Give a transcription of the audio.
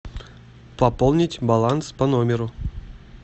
пополнить баланс по номеру